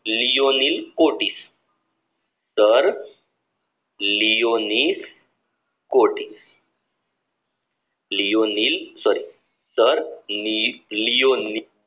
લિઓની કોટિસ sir લિયોનિસ કોટી લિઓની sorry sir લી~લિઓની